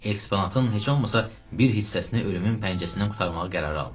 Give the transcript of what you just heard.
Eksponantın heç olmasa bir hissəsini ölümün pəncəsindən qurtarmağı qərara aldı.